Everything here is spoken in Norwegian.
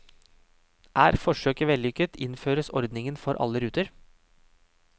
Er forsøket vellykket, innføres ordningen for alle ruter.